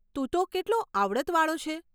તું તો કેટલો આવડતવાળો છે.